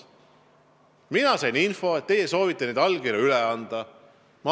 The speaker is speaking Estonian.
Mina sain info, et teie soovite neid allkirju üle anda.